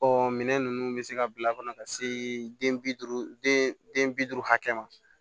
Ɔ minɛn ninnu bɛ se ka bila kɔnɔ ka se den bi duuru den bi duuru hakɛ ma